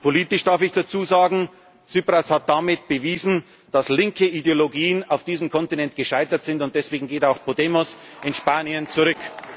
Zukunft hat. Und politisch darf ich dazu sagen, Tsipras hat damit bewiesen, dass linke Ideologien auf diesem Kontinent gescheitert sind, und deswegen geht auch Podemos in Spanien